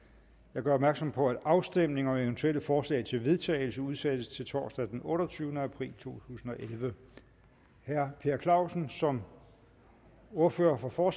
jeg gør opmærksom på at afstemning om eventuelle forslag til vedtagelse udsættes til torsdag den otteogtyvende april to tusind og elleve herre per clausen som ordfører for